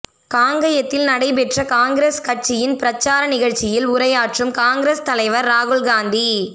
காங்கயத்தில் நடைபெற்ற காங்கிரஸ் கட்சியின் பிரச்சார நிகழ்ச்சியில் உரையாற்றும் காங்கிரஸ் தலைவர் ராகுல்காந்தி